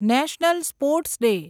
national sports day